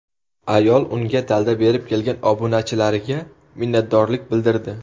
Ayol unga dalda berib kelgan obunachilariga minnatdorlik bildirdi.